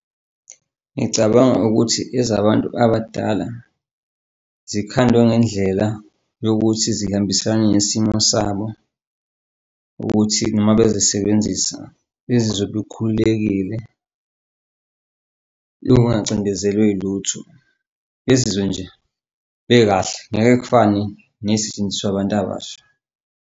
Ngicabanga ukuthi ezabantu abadala zikhandwe ngendlela yokuthi zihambisana nesimo sabo ukuthi uma bezisebenzisa ezizobe ukhululekile, kungacindezelwe yiluthu, bezizwe nje bekahle ngeke kufane nezisetshenziswa abantu abasha.